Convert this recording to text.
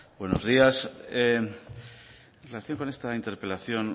buenos días en relación con esta interpelación